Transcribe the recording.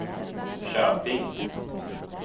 Köping